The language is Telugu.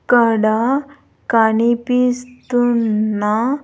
ఇక్కడ కనిపిస్తున్న.